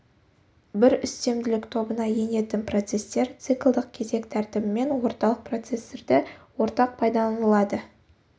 бір үстемділік тобына енетін процестер циклдық кезек тәртібімен орталық процессорды ортақ пайдаланылады